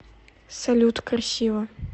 салют красиво